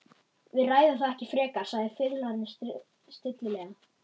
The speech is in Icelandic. Við ræðum það ekki frekar, sagði fiðlarinn stillilega.